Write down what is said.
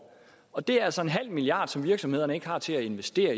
og det er altså en halv milliard kr som virksomhederne ikke har til at investere